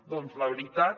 doncs la veritat